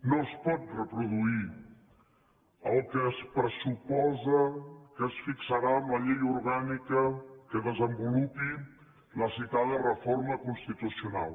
no es pot reproduir el que es pressuposa que es fixarà amb la llei orgànica que desenvolupi la citada reforma constitucional